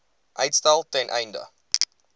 uitstel ten einde